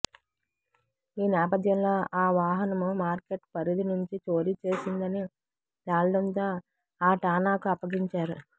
ఈ నేపథ్యంలో ఆ వాహనం మార్కెట్ పరిధి నుంచి చోరీ చేసిందని తేలడంతో ఆ ఠాణాకు అప్పగించారు